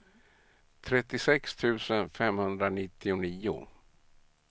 trettiosex tusen femhundranittionio